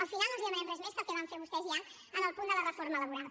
al final no els demanem res més que el que van fer vostès ja en el punt de la reforma laboral